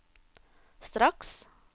straks